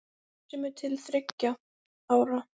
sem er til þriggja ára.